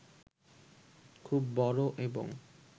খুব বড় এবং